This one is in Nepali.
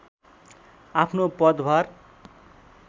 आफ्नो पदभार